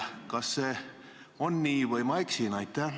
Kas see on nii või ma eksin?